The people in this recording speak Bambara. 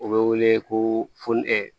U bɛ wele ko funɛ ɛ